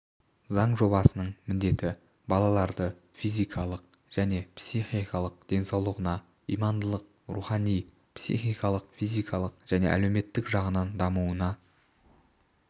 заң жобасының міндеті балаларды физикалық және психикалық денсаулығына имандылық рухани психикалық физикалық және әлеуметтік жағынан дамуына